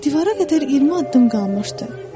Divara qədər 20 addım qalmışdı.